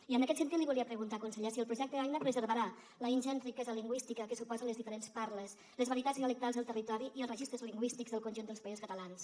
i en aquest sentit li volia preguntar conseller si el projecte aina preservarà la ingent riquesa lingüística que suposen les diferents parles les varietats dialectals del territori i els registres lingüístics del conjunt dels països catalans